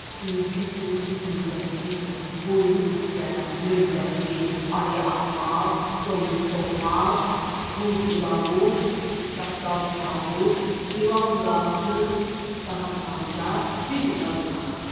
Tülkü, tülkü tümbəki, quyruq üstə, lümbəki, ayı axmaq, donuz toxmaq, qurd ulavuş, çaqqal çavuş, ilan qamçı, tısbağa sancaq, biz ona qonaq.